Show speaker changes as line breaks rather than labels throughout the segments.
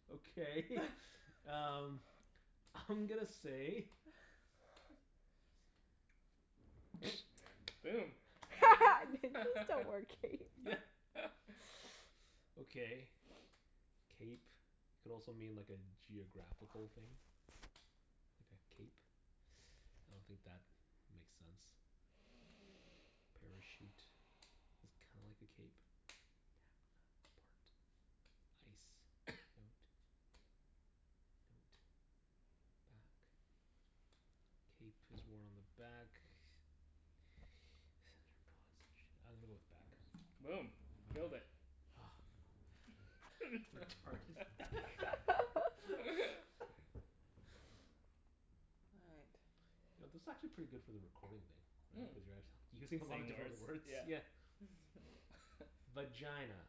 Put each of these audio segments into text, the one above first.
okay um I'm gonna say
Boom.
Ninjas don't wear capes.
Yeah. Okay. Cape could also mean like a geographical thing. Like a cape. I don't think that makes sense. A parachute is kinda like a cape ice note. Note. Bat. Cape is worn on the back. I'm gonna go with back.
Boom. Killed it.
Retarded.
All right.
You know, this is actually pretty good for the recording thing. Right? Cuz you're actu- you're saying a lot of
Saying
different
words?
words.
Yeah.
Yeah. Vagina.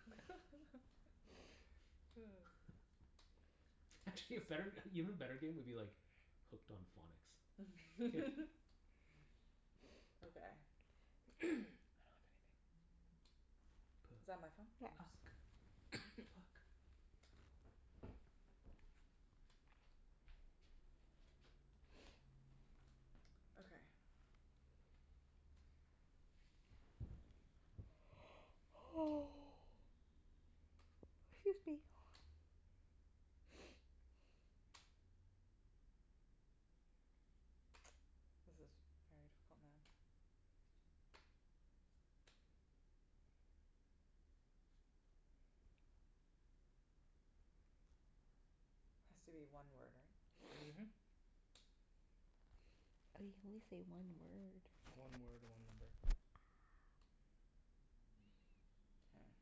Actually, a better, even better game would be like Hooked on Phonics.
Okay.
I don't have anything. P-
Is that my phone?
Yeah.
Oops.
uck. Puck.
Okay.
Excuse me.
This is very difficult now. Has to be one word, right?
Mhm.
Oh, you can only say one word.
One word, one number.
Ah.
K.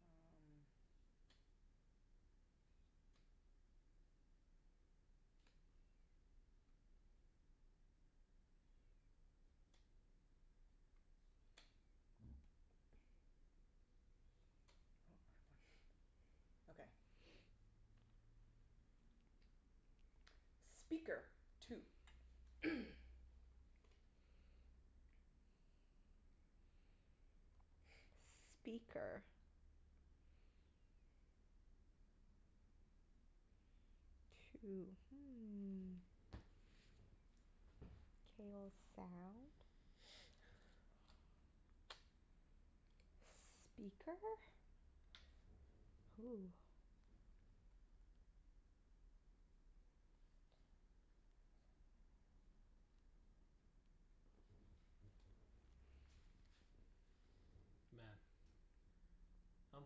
Um Oh, I have one. Okay. Speaker. Two.
Speaker. Two. Hmm. K, well, sound. Speaker? Hoo.
Man. I'm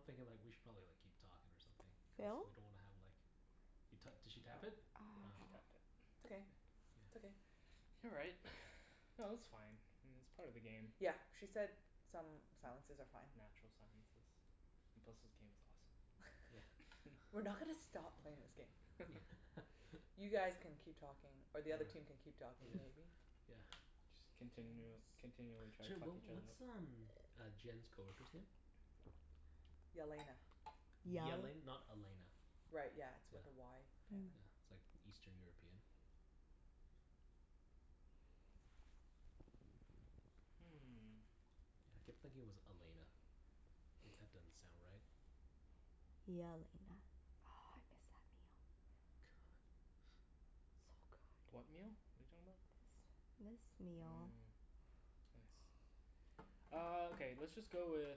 thinking like we should probably like keep talking or something, cuz
Phil?
we don't wanna have like You to- did she tap it?
Ah.
Yeah, she tapped it.
It's okay.
K.
It's okay.
Yeah.
All right. No, that's fine. It's part of the game.
Yep. She said some silences are fine.
Natural silences. And plus this game is awesome.
Yeah.
We're not gonna stop playing this game.
Yeah.
You guys can keep talking, or
All right.
the other team can keep talking,
Yeah.
maybe?
Yeah.
Just continu- continually to try to
Sorry
fuck
what
each other up.
what's um uh Jenn's coworker's name?
Yelena.
Yal-
Yele- not Elena?
Right, yeah. It's
Yeah.
with a Y
Yeah.
Yeah.
apparently.
It's like Eastern European?
Hmm.
Yeah, I kept thinking it was Elena. If that doesn't sound right.
Yelena. Oh, I miss that meal.
Good.
So good.
What meal? What are you talking about?
This this meal.
Mm. Nice. Ah, okay. Let's just go with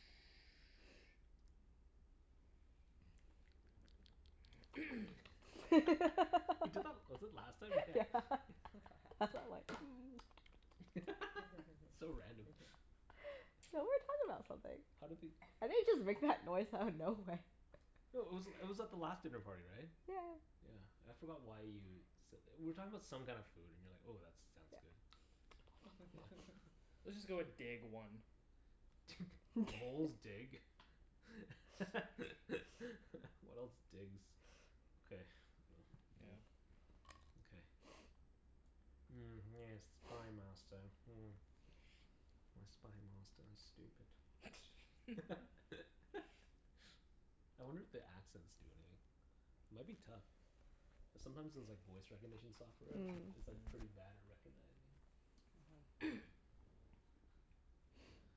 He did that, was it last time? Yeah.
Yeah. That's why I'm like
So random.
So, we were talking about something.
How did he
I didn't just make that noise out of nowhere.
No, it was it was at the last dinner party, right?
Yeah yeah.
Yeah. I forgot why you s- we were talking about some kinda food and you were like, "Oh, that sounds
Yeah.
good." Yeah.
Let's just go with dig, one.
Moles dig. What else digs? Okay,
Yeah.
well, yeah. Okay. Mm, yes, Spy Master, hmm. My Spy Master is stupid. I wonder if the accents do anything? It might be tough. Cuz sometimes those like voice recognition software,
Mm.
it's like pretty
Mm.
bad at recognizing.
Mhm.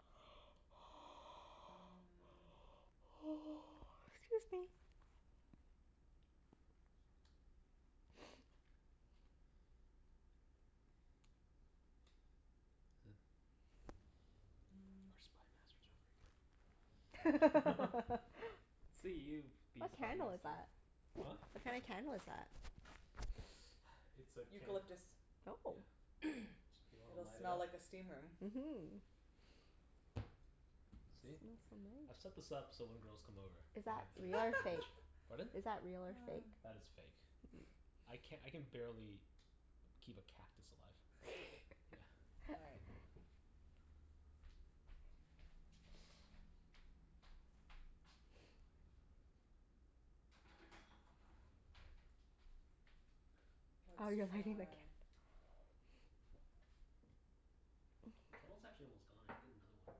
Mm.
'Scuse me.
Is th-
Huh. Our Spy Masters aren't very good.
Let's see you be
What
Spy
candle is
Master.
that?
Huh?
What kinda candle is that?
It's a can.
Eucalyptus.
Oh.
Yeah. Do you wanna
It'll
light it
smell
up?
like a steam room.
Mhm.
See? I've set
Smells so nice.
this up so when girls come over
Is
I
that
have
real or fake?
advantage. Pardon?
Is that real or fake?
That is fake. I can, I can barely keep a cactus alive. Yeah.
All right.
Oh, you're
Let's
lighting the cand-
try
The candle's actually almost gone. I can get another one.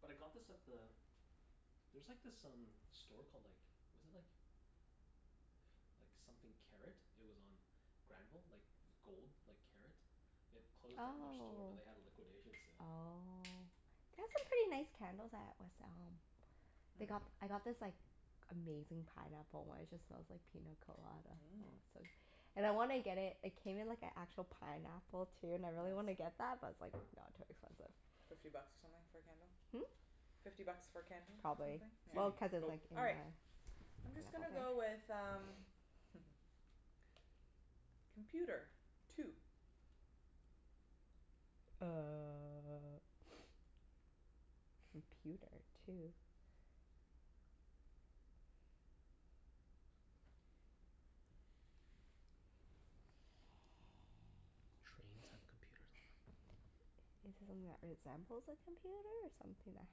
But I got this at the, there's like this um store called like, was it like like something Karat. It was on Granville. Like gold, like karat. It closed down their store but they had a
Oh.
liquidation sale.
Oh. They have some pretty nice candles at West Elm.
Mm.
They got, I got this like amazing pineapple one. It just smells like pina colada, oh
Mmm.
so And I wanna get it, it came in like an actual pineapple, too, and I really wanna
Nice.
get that, but it's like no, too expensive.
Fifty bucks or something for a candle?
Hmm?
Fifty bucks for a candle, or something?
Probably.
Yeah.
Susie.
Well, cuz it's
Go.
like in
All
a
right. I'm just gonna go
pineapple thing.
with um Computer. Two.
Uh computer two?
Trains have computers on them.
Is it something that resembles a computer or something that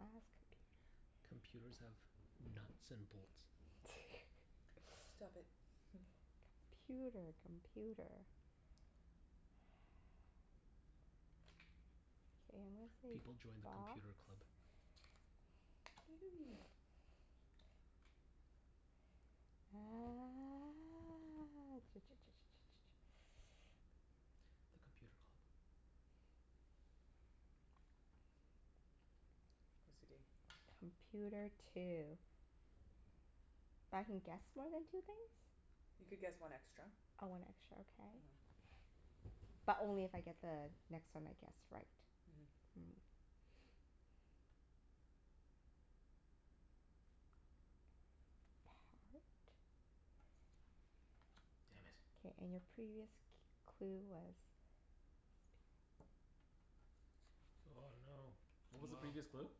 has computer?
Computers have nuts and bolts.
Stop it.
Computer. Computer. K, I'm gonna say
People join the
box.
Computer Club.
You.
Ah
The Computer Club.
OCD.
Computer two. But I can guess more than two things?
You could guess one extra.
Oh, one extra. Okay.
Mhm.
But only if I get the next one I guess right?
Mhm.
Mm. Part.
Damn it.
K, and your previous c- clue was
Oh no. What was the previous
Wow.
clue?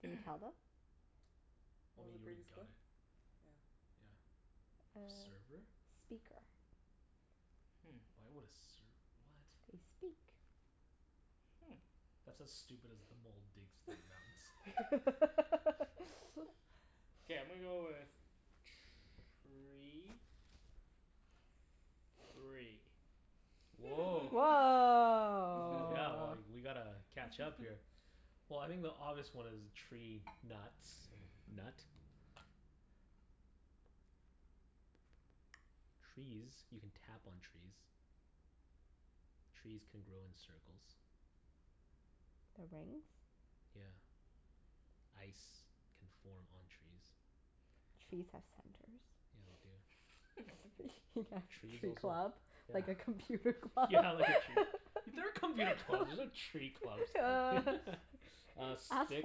Can you tell them?
What
Well I
was the
mean, you already
previous
got
clue?
it.
Yeah.
Yeah.
Uh,
Server?
speaker.
Hmm.
Why would a serv- what?
They speak.
Hmm.
That's as stupid as the mole digs for nuts.
K, I'm gonna go with tree. Three.
Woah. Oh yeah, well
Woah.
like, we gotta catch up here. Well, I think the obvious one is tree nuts. Nut. Trees. You can tap on trees. Trees can grow in circles.
The rings?
Yeah. Ice can form on trees.
Trees have centers.
Yeah, they do.
Yeah,
Trees
tree
also,
club.
yeah
Like a computer club.
Yeah, like a tree, there are computer clubs, there's no tree clubs. Uh,
Ask
stick,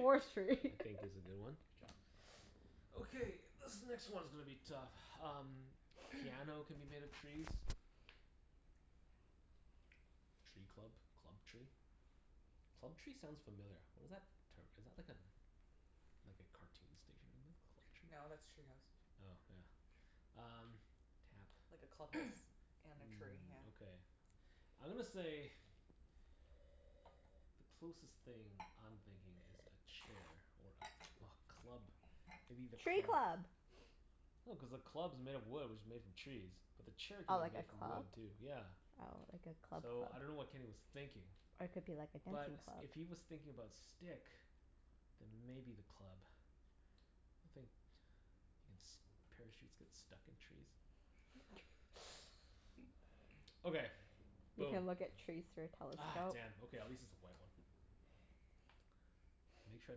I think is a good one.
Good job.
Okay, this next one's gonna be tough. Um Piano can be made of trees. Tree club? Club tree? Club tree sounds familiar. What is that term? Is that like a like a cartoon station
No,
Club Tree?
that's Treehouse.
Oh, yeah. Um, tap.
Like a clubhouse and a tree,
Mm,
yeah.
okay. I'm gonna say Closest thing I'm thinking is a chair or a a club maybe the
Tree
club?
club!
No, cuz the club's made of wood which is made from trees. But the chair
Oh,
could
like
be
a
made from
club?
wood, too. Yeah.
Oh, like a club
So, I dunno
club.
what Kenny was thinking.
Or it could be like a
But
dancing
s-
club.
if he was thinking about stick then maybe the club. I think ins- parachutes get stuck in trees. Okay,
You
boom.
can look at trees through a
Ah,
telescope.
damn. Okay, at least it's a white one. Make sure I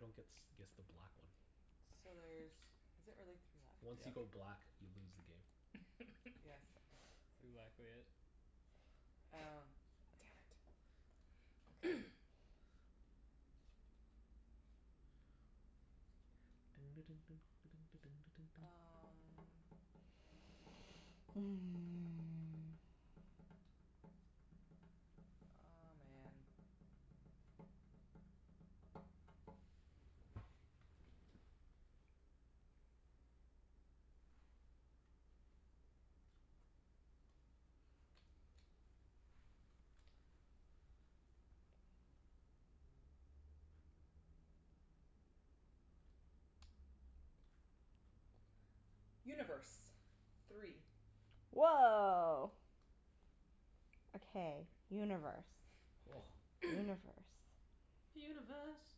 don't gets guess the black one.
So there's, is it really three left?
Once you
Yep.
go black you lose the game.
That's
Yes.
exactly it.
Oh, damn it. Okay. Um Aw, man. Universe. Three.
Woah. Okay, universe. Universe.
Universe.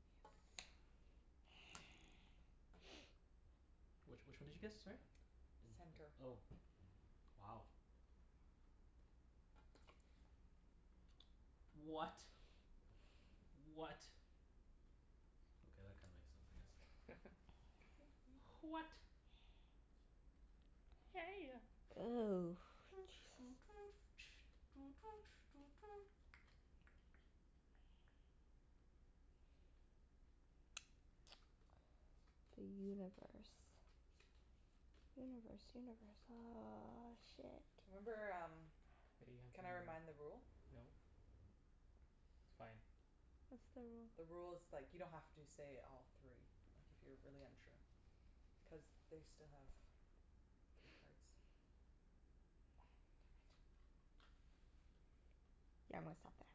Yes.
Which which one did you guess, sorry? Does
Center.
it, oh, wow. What? What? Okay, that kinda makes sense, I guess. H- what? Hey ya.
Ooh. The universe. Universe, universe. Ah, shit.
Remember um,
Hey, you have to
can I
re-
remind the rule?
no. It's fine.
What's the rule?
The rule is like you don't have to say all three. Like, if you're really unsure. Cuz they still have three cards. Damn it.
Yeah, I'm gonna stop there.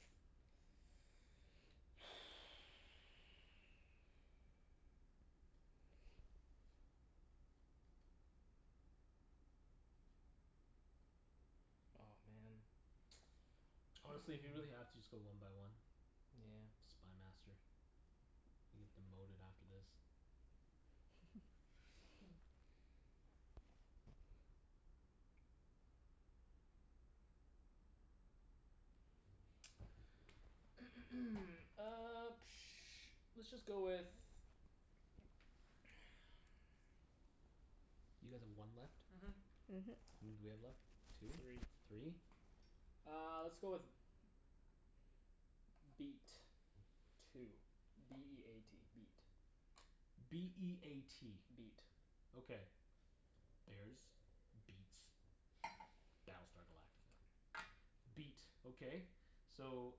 Oh, man.
Honestly, if you really have to, just go one by one.
Nyeah.
Spy Master. You get demoted after this.
Hmm.
Uh let's just go with
You guys have one left?
Mhm.
Mhm.
How many do we have left?
Three.
Two? Three?
Uh, let's go with beat. Two. B e a t. Beat.
B e a t.
Beat.
Okay. Bears. Beats. Battlestar Galactica. Beat. Okay. So,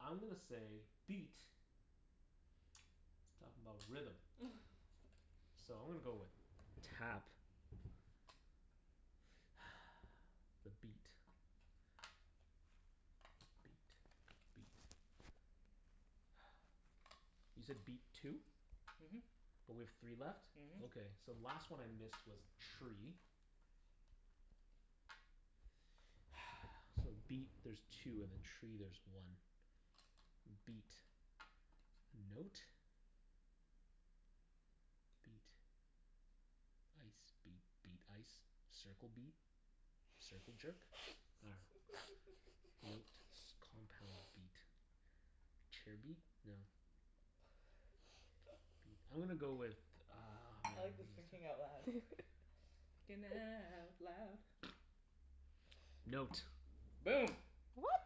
I'm gonna say beat is talkin' 'bout rhythm. So I'm gonna go with tap. The beat. The beat. The beat. You said beat two?
Mhm.
But we have three left?
Mhm.
Okay, so the last one I missed was tree. So beat there's two, and then tree there's one. M- beat. Note. Beat. Ice. Beat. Beat. Ice. Circle beat. Circle jerk? Nah. Note. S- compound beat. Chair beat? No. Beat. I'm gonna go with uh
I like this thinking out loud.
Thinking out loud.
Note.
Boom.
What?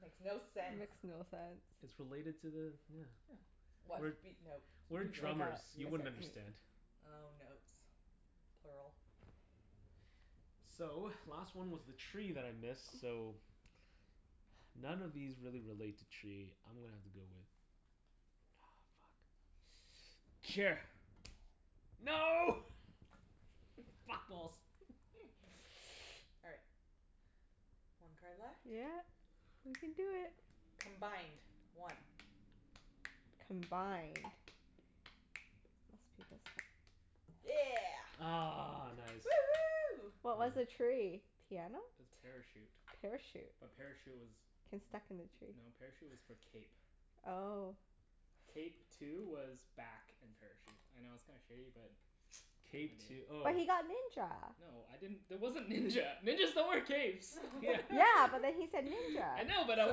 Makes no
That
sense.
makes no
It's
sense.
related to the, yeah.
Yeah.
What?
We're
Beat note?
we're drummers.
Mus-
You
music
wouldn't
music.
understand.
Oh, notes. Plural.
So, last one was the tree that I missed, so none of these really relate to tree. I'm gonna have to go with Aw, fuck. Chair. No! Fat balls!
All right. One card left.
Yeah. We can do it.
Combined. One.
Combined. Must be this one.
Yeah.
Ah, nice.
Woohoo.
What was the tree? Piano?
Parachute.
Parachute?
A parachute was,
Can stuck in the tree?
no, parachute was for cape.
Oh.
Cape two was back and parachute. I know it's kinda shitty but what
Cape two oh.
But he got ninja.
No, I didn't, there wasn't ninja. Ninjas don't wear capes.
Yeah.
Yeah, but then he said ninja.
I know but I
So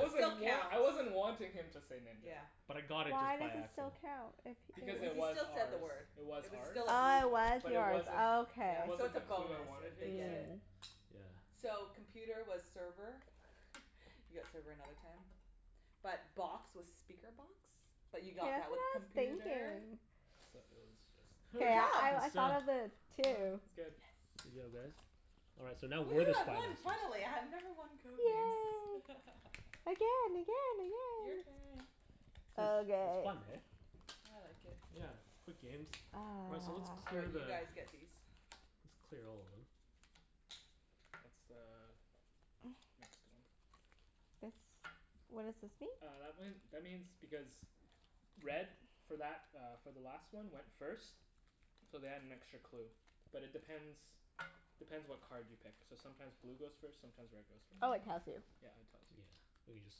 it still
wan-
counts.
I wasn't wanting him to say ninja.
Yeah.
But I got it
Why
just
does
by
it
accident.
still count, if
Because
Cuz if
it
he
he
was
still said the
ours.
word.
It was
It was
ours.
still a blue
Oh, it
card.
was
But it
yours.
wasn't,
Oh okay.
it
Yeah. So
wasn't
it's a
the clue I
bonus
wanted
if they
him to
get
say.
it.
Mm.
Yeah.
So, computer was server. You got server another time. But box was speaker box, but
That's
you
what
got that with
I was
computer.
thinking.
So, it was just
K,
Good job.
I I
That's done.
thought of it too.
It's good.
Good
Yes.
job, guys. All right, so now we're
Woohoo.
the
I
Spy
won,
Masters.
finally. I have never won Code Names.
Yay. Again, again,
Your
again!
turn.
It's it's
Okay.
fun, hey?
I like it.
Yeah. Quick games. All right, so let's
Oh,
clear
right.
Ah.
You
the
guys get these.
Let's clear all of them.
That's the next one.
This, what does this mean?
Uh, that one, that means because red for that uh for the last one went first. So they had an extra clue. But it depends depends what card you pick. So sometimes blue goes first, sometimes red goes
Oh,
first.
it tells you.
Yeah, it tells you.
Yeah. We can just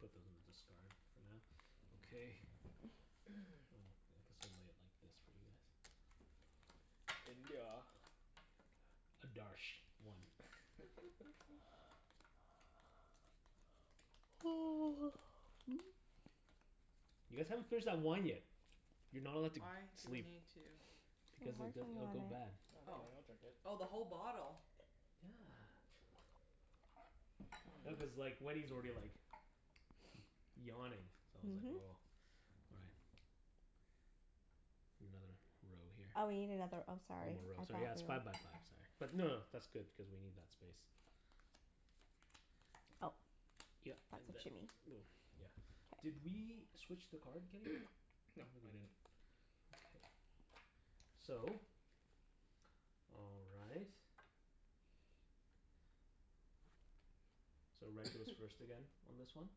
put those in the discard for now. Okay. Oh, I guess we'll lay it like this for you guys.
India.
Adarsh. One. You guys haven't finished that wine yet. You're not allowed to g-
Why do we
sleep.
need to
I'm
Because it
working
di- it'll
on
go bad.
it.
No, don't
Oh.
worry. I'll drink it.
Oh, the whole bottle?
Yeah. No, cuz
Mmm.
like Wenny's already like yawning. So I was like
Mhm.
oh all right. Another row here.
Oh, we need another, oh
One
sorry.
more row,
I thought
sorry. Yeah, it's five
we
by five, sorry. But no no, that's good, cuz we need that space.
Oh,
Yep. And
that's what you
then
mean.
we'll, yeah. Did
K.
we switch the card, Kenny? I
No,
don't think we
I
did.
didn't.
Okay. So all right. So red goes first again on this one.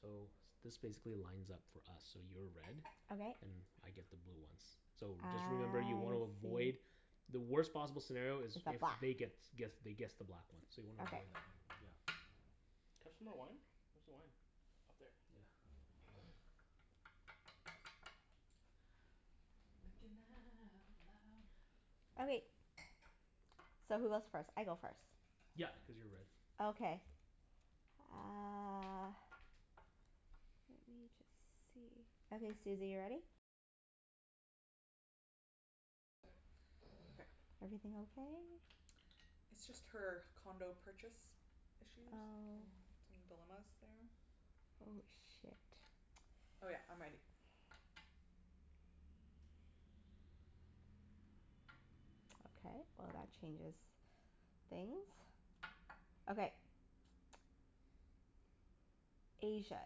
So this basically lines up for us. So you're red.
Okay.
And I get the blue ones. So,
I
just remember you wanna avoid
see.
The worst possible scenario
Is
is
a
if
black
they gets guess they guess the black one, so you wanna
Okay.
avoid that one. Yeah.
Can I have some more wine? Where's the wine? Up there.
Yeah.
Thinking out loud.
Okay. So who goes first? I go first.
Yep, cuz you're red.
Okay. Uh
Okay.
Everything okay?
It's just her condo purchase issues
Oh.
and some dilemmas there.
Oh, shit.
Oh yeah, I'm ready.
Okay, well that changes things. Okay. Asia.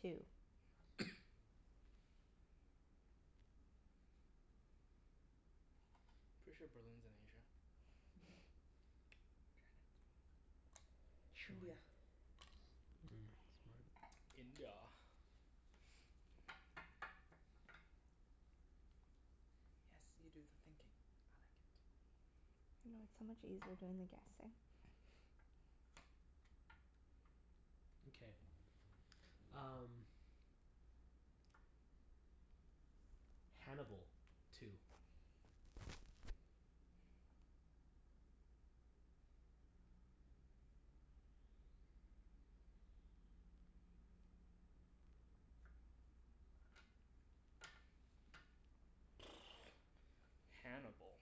Two.
Pretty sure Berlin's in Asia.
Mhm. Trindia.
Mm, smart.
India.
Yes. You do the thinking. I like it.
I know, it's so much easier doing the guessing.
Okay, um Hannibal. Two.
Hannibal.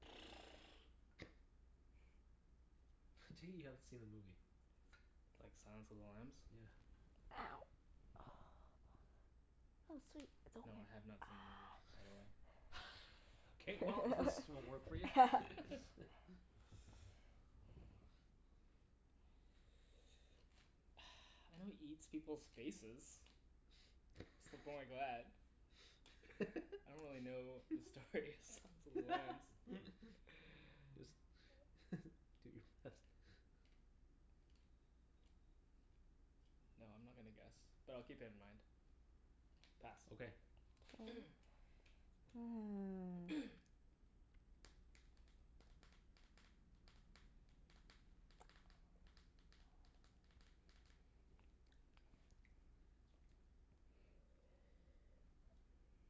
I take it you haven't seen the movie?
Like, Silence of the Lambs?
Yeah.
Ow. Oh, sweet. It's okay.
No, I have not seen the movie, by the way.
K, well this won't work for you.
Ah.
I know he eats people's faces. I don't really know the story of Silence of the Lambs.
Just do your best.
No, I'm not gonna guess. But I'll keep it in mind. Pass.
Okay.
K.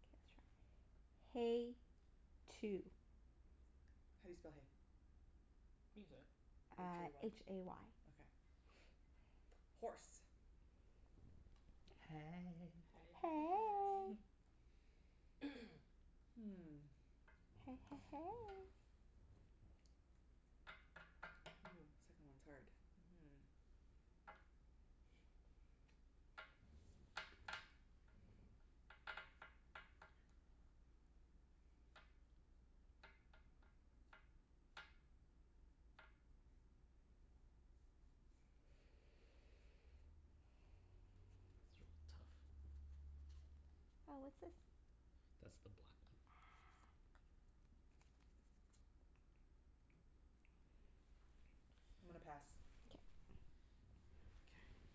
K, let's try, hay. Two.
How do you spell hay?
You can say it.
h
Uh,
a
h
y.
a y.
Okay. Horse.
Hey.
Hey hey hey.
Hey.
Hmm.
Hey hey hey.
Ooh, second one's hard. Mhm.
These are all tough.
Oh, what's this?
That's the black one.
I'm gonna pass.
K.
K.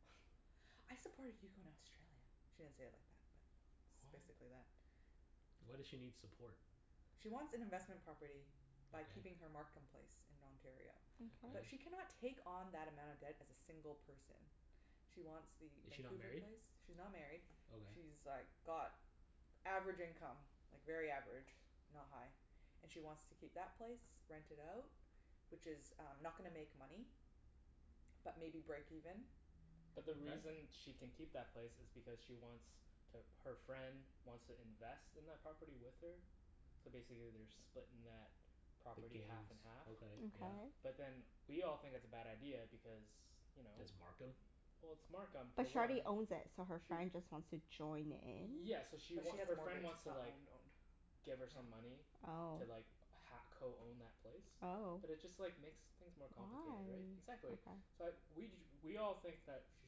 "I supported you in Australia." She didn't say it like that, but it's
What?
basically that.
Why does she need support?
She wants an investment property by
Okay.
keeping her Markham place in Ontario.
Mkay.
But
Okay.
she cannot take on that amount of debt as a single person. She wants the
Is she not
Vancouver
married?
place. She's not married.
Okay.
She's like got average income. Like very average. Not high. And she wants to keep that place. Rent it out. Which is um not gonna make money. But maybe break even.
But the
Okay.
reason she can keep that place is because she wants to, her friend wants to invest in that property with her. So basically they're splitting that
The
property half
gains.
and half.
Okay,
Okay.
yeah.
But then we all think it's a bad idea because you know?
It's Markham?
Well, it's Markham, for
But she already
one.
owns it, so her
Sh-
friend just wants to join in?
yeah, so she
But she
wa-
has a
her friend
mortgage.
wants
It's
to
not
like
owned owned.
give her some
Yeah.
money
Oh.
to like ha- co-own that place.
Oh.
But it just like makes things more complicated, right?
Why?
Exactly.
Okay.
So I we ju- we all think that she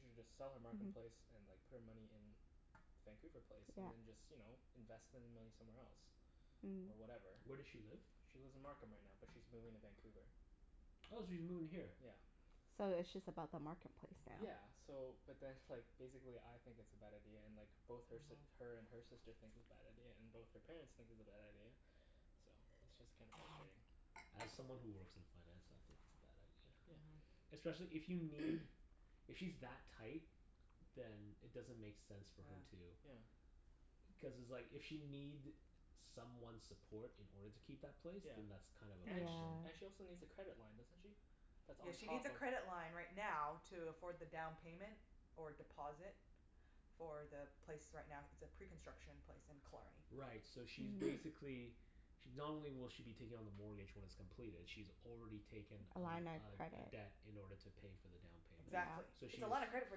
should just sell her Markham place
Mhm.
and like put her money in Vancouver place
Yeah.
and then just, you know, invest the money somewhere else.
Mm.
Or whatever.
Where does she live?
She lives in Markham right now, but she's moving to Vancouver.
Oh, she's moving here?
Yeah.
So it's just about the Markham place now?
Yeah. So, but then like, basically I think it's a bad idea, and like both her si-
Mhm.
her and her sister thinks it's bad idea, and both her parents think it's a bad idea. So it's just kinda
Mhm.
frustrating.
As someone who works in finance, I think it's a bad idea.
Yeah.
Mhm.
Especially if you need If she's that tight then it doesn't make sense for
Yeah.
her to
Yeah.
Cuz it's like if she'll need someone's support in order to keep that place.
Yeah.
Then that's kind of a
And sh-
problem.
and she
Yeah.
also needs a credit line, doesn't she? That's
Yeah,
on
she needs
top
a
of
credit line right now to afford the down payment. Or deposit. For the place right now, it's a pre-construction place in Killarney.
Right, so she's
Mm.
basically She, not only will she be taking on the mortgage when it's completed she's already taken
A
a
line of
l- a a
credit.
debt in order to pay for the down payment.
Yeah.
Exactly.
So
It's
she's
a lot of credit for